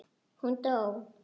Hún dó!